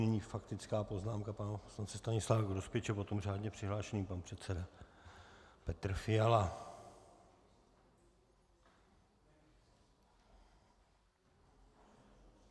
Nyní faktická poznámka pana poslance Stanislava Grospiče, potom řádně přihlášený pan předseda Petr Fiala.